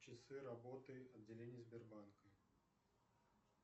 часы работы отделения сбербанка